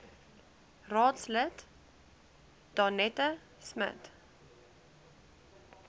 raadslid danetta smit